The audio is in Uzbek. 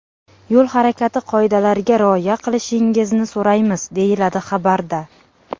Yo‘l harakati qoidalariga rioya qilishingizni so‘raymiz”, deyiladi xabarda.